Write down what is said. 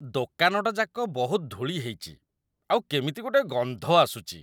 ଦୋକାନଟାଯାକ ବହୁତ ଧୂଳି ହେଇଚି ଆଉ କେମିତି ଗୋଟେ ଗନ୍ଧ ଆସୁଚି ।